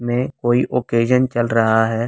में कोई ओकेजन चल रहा है।